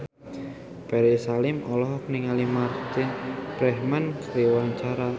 Ferry Salim olohok ningali Martin Freeman keur diwawancara